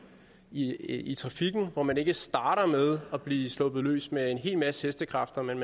i i trafikken hvor man ikke starter med at blive sluppet løs med en hel masse hestekræfter men